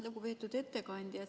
Lugupeetud ettekandja!